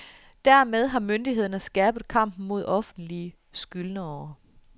Dermed har myndighederne skærpet kampen mod offentlige skyldnere.